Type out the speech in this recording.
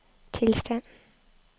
tilstand